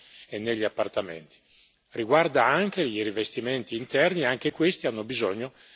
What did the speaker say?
riguarda anche i rivestimenti interni, e anche questi hanno bisogno dello stesso severo controllo.